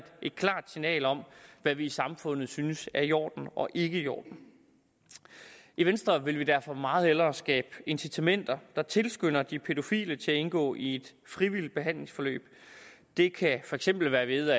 et klart signal om hvad vi i samfundet synes er i orden og ikke i orden i venstre vil vi derfor meget hellere skabe incitamenter der tilskynder de pædofile til at indgå i et frivilligt behandlingsforløb det kan for eksempel være ved